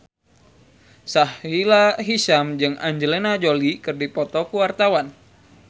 Sahila Hisyam jeung Angelina Jolie keur dipoto ku wartawan